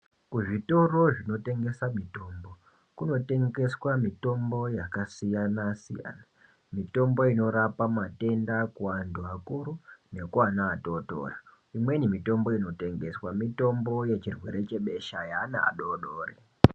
Kuzvitoro zvinotengeswa mitombo kunotengeswa mitombo yakasiyana siyana mitombo inorapa matenda kuwantu vakuru nekuvana vadoko imweni mitombo inotengeswa nemitombo yechirwere chebesha yevana vadodori.